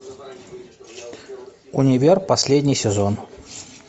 универ последний сезон